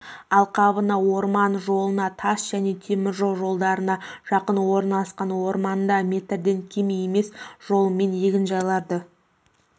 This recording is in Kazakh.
алқабына орман жолына тас және теміржол жолдарына жақын орналасқан орындарда метрден кем емес жолымен егінжайларды